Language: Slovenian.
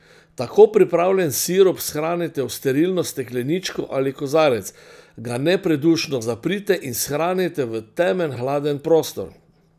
Tako pripravljen sirup shranite v sterilno stekleničko ali kozarec, ga nepredušno zaprite in shranite v temen, hladen prostor.